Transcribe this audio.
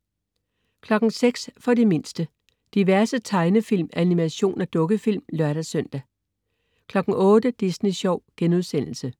06.00 For de mindste. Diverse tegnefilm, animation og dukkefilm (lør-søn) 08.00 Disney sjov*